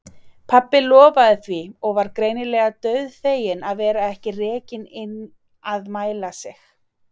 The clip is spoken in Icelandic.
Pabbi lofaði því og var greinilega dauðfeginn að vera ekki rekinn inn að mæla sig.